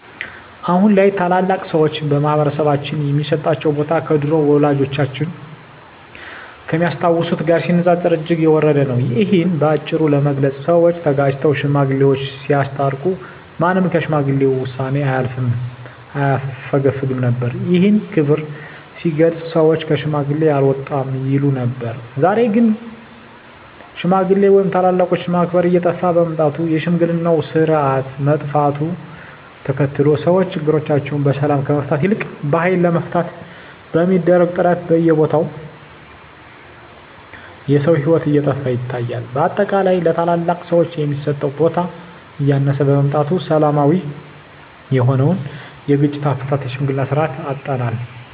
አሁን ላይ ታላላቅ ሰዎች በማህበረሰባችን ሚሰጣቸው ቦታ ከድሮው ወላጆቻችን ከሚያስታውሱት ጋር ሲነጻጸር እጅግ የወረደ ነው። እሂን በአጭሩ ለመግለጽ ሰወች ተጋጭተው ሽማግሌወች ሲያስታርቁ ማንም ከሽማግሌ ውሳኔ አያፈገፍግም ነበር። ይህም ክብር ሲገለጽ ሰወች ከሽማግሌ አልወጣም ይሉ ነበር። ዛሬ ላይ ግን ሽማግሌ ወይም ታላላቆችን ማክበር እየጠፋ በመምጣቱ የሽምግልናው ስርአት መጥፋቱን ተከትሎ ሰወች ችግሮቻቸውን በሰላም ከመፍታት ይልቅ በሀይል ለመፍታት በሚደረግ ጥረት በየቦታው የሰው ሂወት እየጠፋ ይታያል። በአጠቃላይ ለታላላቅ ሰወች የሚሰጠው ቦታ እያነሰ በመምጣቱ ሰላማዊ የሆነውን የግጭት አፈታት የሽምግልናን ስርአት አጠናል።